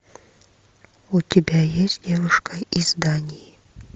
у тебя есть девушка из дании